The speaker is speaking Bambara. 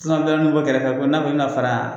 bɛɛ kɛrɛfɛ ko n'a kun mi na fara